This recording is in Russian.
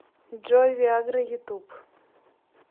джой виа гра ютуб